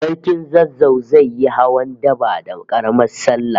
Sarkin Zazzau zai yi hawan daba da Karamar sallah